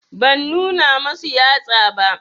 Ban nuna masu yatsa ba